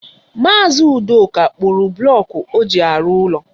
Maazi Udoka kpụrụ bụlọku ọ ji arụ ụlọ.